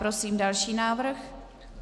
Prosím další návrh.